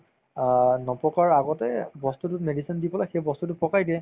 অ, নপকাৰ আগতেই বস্তুতোত medicine দি পেলাই সেই বস্তুতো পকাই দিয়ে